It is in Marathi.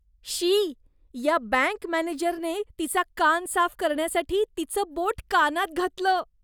शी. या बँक मॅनेजरने तिचा कान साफ करण्यासाठी तिचं बोट कानात घातलं.